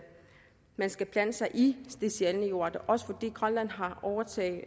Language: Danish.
man skal blande sig i de sjældne jordarter også fordi grønland har overtaget